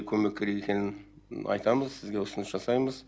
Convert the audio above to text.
көмек керек екенін айтамыз сізге ұсыныс жасаймыз